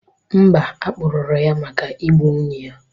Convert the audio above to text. Mba, a kpụrụru ya maka Ị gbu nwunye ya